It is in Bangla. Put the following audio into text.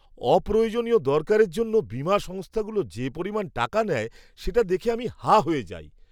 অপ্রয়োজনীয় দরকারের জন্য বীমা সংস্থাগুলো যে পরিমাণ টাকা নেয় সেটা দেখে আমি হাঁ হয়ে যাই!